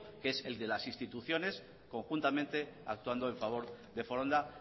que es el de las instituciones conjuntamente actuando a favor de foronda